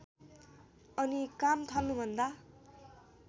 अनि काम थाल्नुभन्दा